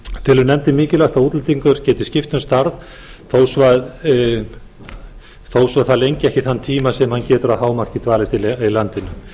telur nefndin mikilvægt að útlendingur geti skipt um starf þó svo það lengi ekki þann tíma sem hann getur að hámarki dvalist í landinu